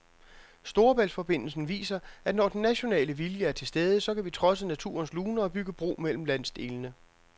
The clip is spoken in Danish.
Storebæltsforbindelsen viser, at når den nationale vilje er til stede, så kan vi trodse naturens luner og bygge bro mellem landsdelene.